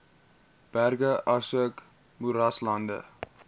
berge asook moeraslande